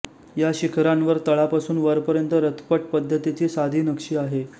या शिखरांवर तळापासून वपर्यंत रथपट्ट पद्धतीची साधी नक्षी आहे